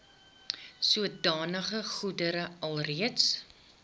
sodanige goedere alreeds